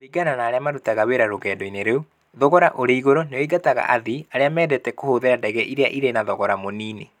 Kũringana na arĩa marutaga wĩra rũgendo-inĩ rũu, thogora ũrĩ igũrũ nĩ oingataga athii. Arĩa mendete kũhũthĩra ndege iria irĩ na thogora mũnini.